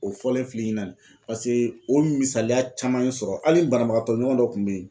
O fɔlen filɛ i ɲɛna paseke o misaliya caman ye sɔrɔ hali banabagatɔ ɲɔgɔn dɔ tun bɛ yen.